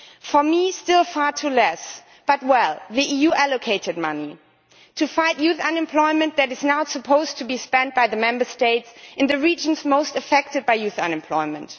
For me, it is still far too little, but, well, the EU allocated money to fight youth unemployment that is now supposed to be spent by the Member States in the regions most affected by youth unemployment.